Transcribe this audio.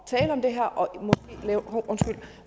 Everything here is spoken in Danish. det her og